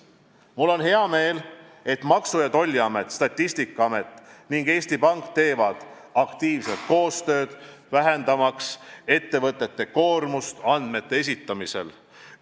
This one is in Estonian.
Mul on hea meel, et Maksu- ja Tolliamet, Statistikaamet ning Eesti Pank teevad aktiivselt koostööd, vähendamaks ettevõtete koormust andmete esitamisel.